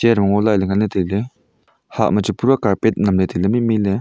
jong ngola le ngan la taile hah machu pura carpet nam le taile maimai le.